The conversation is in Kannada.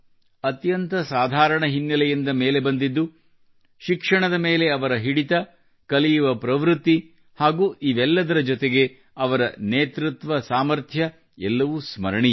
ಅತ್ಯಂತ ಸಾಧಾರಣ ಹಿನ್ನೆಲೆಯಿಂದ ಮೇಲೆ ಬಂದಿದ್ದು ಶಿಕ್ಷಣದ ಮೇಲೆ ಅವರ ಹಿಡಿತ ಕಲಿಯುವ ಪ್ರವೃತ್ತಿ ಹಾಗೂ ಇವೆಲ್ಲದರ ಜತೆಗೆ ಅವರ ನೇತೃತ್ವ ಸಾಮಥ್ರ್ಯ ಎಲ್ಲವೂ ಸ್ಮರಣೀಯ